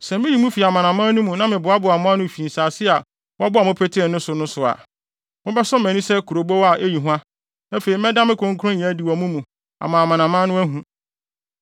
Sɛ miyi mo fi amanaman no mu na meboaboa mo ano fi nsase a wɔbɔɔ mo petee so no so a, mobɛsɔ mʼani sɛ kurobow a eyi hua, afei mɛda me kronkronyɛ adi wɔ mo mu ama amanaman no ahu.